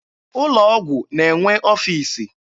Ụlọ ọgwụ na-enwe ọfiisi.